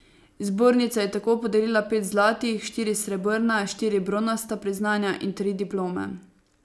Zbornica je tako podelila pet zlatih, štiri srebrna, štiri bronasta priznanja in tri diplome.